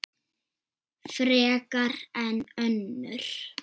Frekar en önnur.